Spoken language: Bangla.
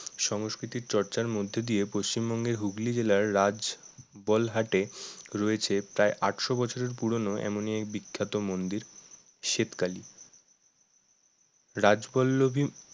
সংস্কৃতি চর্চার মধ্য দিয়ে পশ্চিমবঙ্গের হুগলি জেলার রাজাবলহাটে রয়েছে প্রায় আটশো বছরের পুরনো এমনই এক বিখ্যাত মন্দির স্বেত কালী রাজবল্লভী